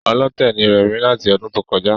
Ọlọ́tẹ̀ ni rẹ̀mí láti ọdún tó kọjá